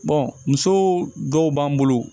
muso dɔw b'an bolo